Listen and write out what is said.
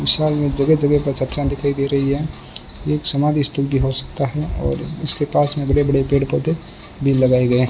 विशाल में जगह जगह पाचकना दिखाई दे रही है एक समाधि स्थल भी हो सकता है और इसके पास में बड़े बड़े पेड़ पौधे भी लगाए गए --